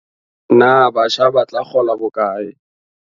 Na batjha ba tla kgola bokae?